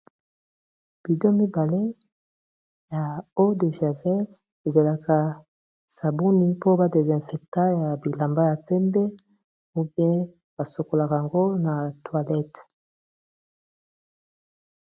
Budon mibale ya eau de javel ezalaka sabuni po ba dezinfecta ya bilamba ya pembe to pe basokolaka yango na toilette.